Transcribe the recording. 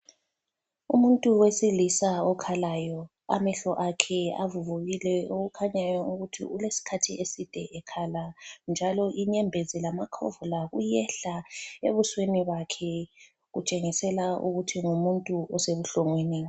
Umuntu wesilisa okhalayo, amehlo akhe avuvukile okukhanyayo ukuthi ulesikhathi eside ekhala. Njalo inyembezi lamakhovula kuyehla ebusweni bakhe kutshengisela ukuthi ngumuntu osebuhlungwini.